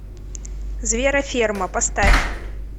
звероферма поставь